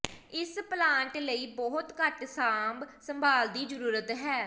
ਇਸ ਪਲਾਂਟ ਲਈ ਬਹੁਤ ਘੱਟ ਸਾਂਭ ਸੰਭਾਲ ਦੀ ਜ਼ਰੂਰਤ ਹੈ